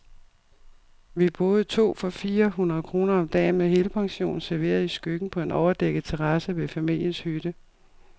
Vi boede to for fire hundrede kroner om dagen, med helpension, serveret i skyggen på en overdækket terrasse ved familiens hytte.